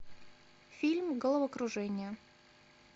фильм головокружение